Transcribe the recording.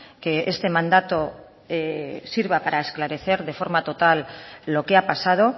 que este mandato sirva para esclarecer de forma total lo que ha pasado